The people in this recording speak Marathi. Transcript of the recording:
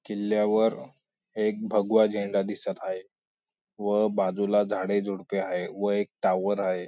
किल्ल्यावर एक भगवा झेंडा दिसत हाये व बाजूला झाडे झुडपे हाये व एक टावर आहे.